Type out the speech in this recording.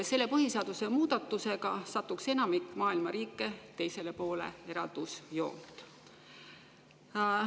Selle põhiseaduse muudatusega satuks enamik maailma riike teisele poole eraldusjoont.